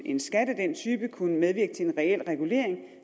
en skat af den type kunne medvirke til en reel regulering